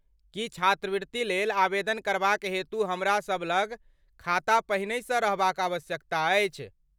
की छात्रवृत्ति लेल आवेदन करबाक हेतु हमरासभ लग खाता पहिनहिसँ रहबाक आवश्यकता अछि?